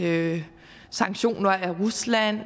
ved sanktioner af rusland